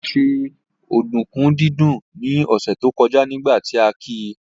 Olá ṣe ọ̀dùnkún dídún ní ọ̀sẹ̀ tó kọjá nígbà tí a ki